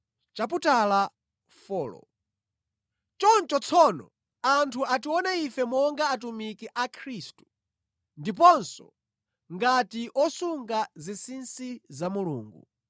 Choncho tsono anthu atione ife monga atumiki a Khristu, ndiponso ngati osunga zinsinsi za Mulungu.